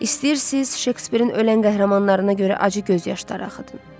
İstəyirsiz, Şekspirin ölən qəhrəmanlarına görə acı göz yaşları axıdın.